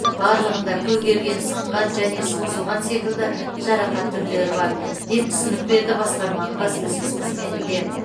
барлығында көгерген сынған және созылған секілді жарақат түрлері бар деп түсінік берді басқарманың баспасөз қызметінде